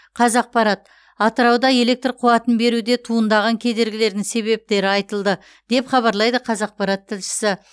қазақпарат атырауда электр қуатын беруде туындаған кедергілердің себептері айтылды деп хабарлайды қазақпарат тілшісі